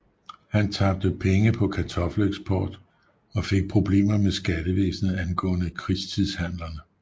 Han tabte penge på kartoffeleksport og fik problemer med skattevæsenet angående krigstidshandlerne